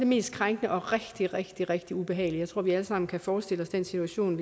mest krænkende og rigtig rigtig rigtig ubehageligt jeg tror vi alle sammen kan forestille os den situation